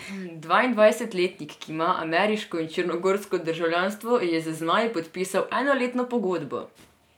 Dvaindvajsetletnik, ki ima ameriško in črnogorsko državljanstvo, je z zmaji podpisal enoletno pogodbo.